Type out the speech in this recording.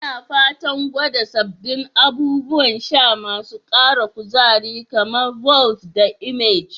Ina fatan gwada sabbin abubuwan sha masu ara kuzari, kamar "Vault" da "Emerge".